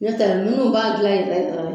ne ta la munnu b'a gilan yɛrɛ yɛrɛ